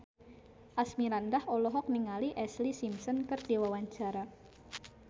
Asmirandah olohok ningali Ashlee Simpson keur diwawancara